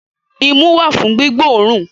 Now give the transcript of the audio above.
Imú wà fún gbígbóòrùn